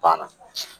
Banna